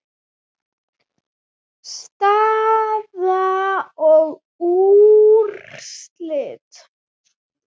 Staða og úrslit